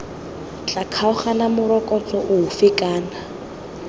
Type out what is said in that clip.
tla kgaoganang morokotso ofe kana